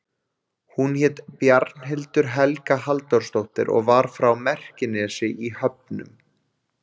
Hún hét Bjarnhildur Helga Halldórsdóttir og var frá Merkinesi í Höfnum.